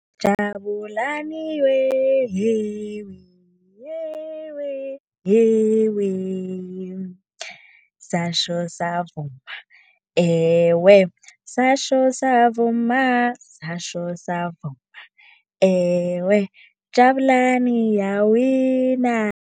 Jabulani we, yewe yewe, yewe satjho savuma ewe. Satjho savuma, satjho savuma ewe. Jabulani iyawina.